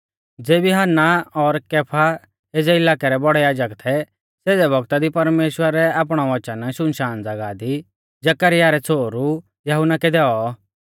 ज़ेबी हन्ना और कैफा एज़ै इलाकै रै बौड़ै याजक थै सेज़ै वक्ता दी परमेश्‍वरै आपणौ वच़न शुनशान ज़ागाह दी जकरयाह रै छ़ोहरु यहुन्ना कै दैऔ